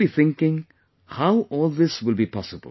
You must be thinking how all this will be possible